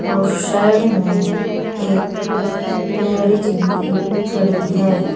और साइड में एक लेडिस भी खड़ी है।